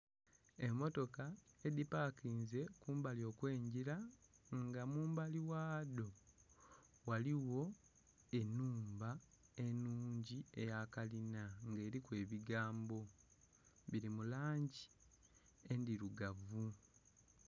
Emmotoka, edhipakinze kumbali okw'engira, nga mumbali ghadho ghaligho enhumba enhungi eya kalina nga eliku ebigambo, bili mu langi endilugavu.